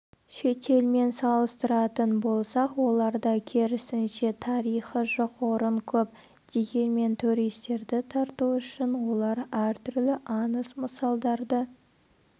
шетелмен салыстыратын болсақ оларда керісінше тарихы жоқ орын көп дегенмен туристерді тарту үшін олар әртүрлі аңыз-мысалдарды